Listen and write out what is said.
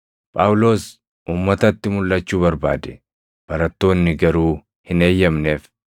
Phaawulos uummatatti mulʼachuu barbaade; barattoonni garuu hin eeyyamneef.